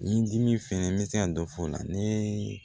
Ni dimi fɛnɛ n bɛ se ka dɔ fɔ o la ni